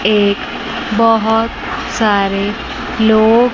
एक बहोत सारे लोग--